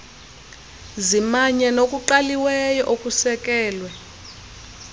zimanye nokuqaliweyo okusekelwe